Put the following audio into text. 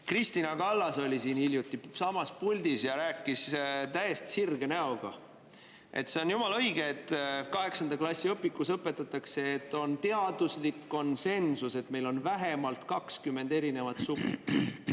Kristina Kallas oli hiljuti siinsamas puldis ja rääkis täiesti sirge näoga, et see on jumala õige, et kaheksanda klassi õpikus õpetatakse, et on teaduslik konsensus, et meil on vähemalt 20 erinevat sugu.